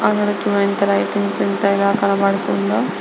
ఎంత వింత వింతగా కనపడుతుందో.